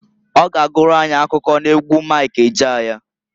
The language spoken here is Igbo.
Ọ ga agụrụ anyị akụkọ n'egwu Mik Ejeaya.